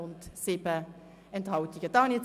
Die Ziffer 2 der Motion ist abgelehnt.